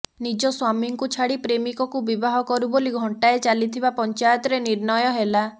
ନିଜ ସ୍ୱାମୀଙ୍କୁ ଛାଡ଼ି ପ୍ରେମିକକୁ ବିବାହ କରୁ ବୋଲି ଘଣ୍ଟାଏ ଚାଲିଥିବା ପଞ୍ଚାୟତରେ ନିର୍ଣ୍ଣୟ ହେଲା